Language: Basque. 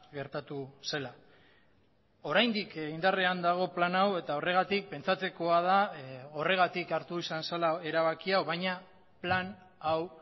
gertatu zela oraindik indarrean dago plan hau eta horregatik pentsatzekoa da horregatik hartu izan zela erabaki hau baina plan hau